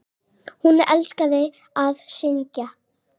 Hún elskaði að syngja.